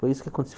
Foi isso que